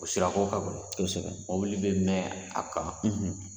O sira ko ka gɛlɛn kosɛbɛn mobili bɛ mɛn a kan